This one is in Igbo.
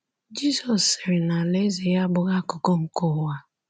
Jizọs sịrị na alaeze ya abụghị akụkụ nke ụwa a.